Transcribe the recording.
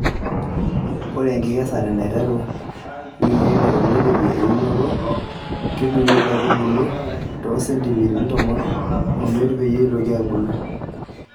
Ore enkikesare neiteru wikii ile teneidipi eunoto, kedung'I nkaitubulu too sentimitani tomon omiet peyie eitoki aabulu.